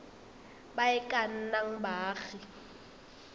ba e ka nnang baagi